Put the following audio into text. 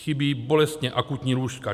Chybí bolestně akutní lůžka.